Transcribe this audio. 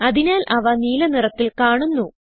അതിനാൽ അവ നീല നിറത്തിൽ കാണുന്നു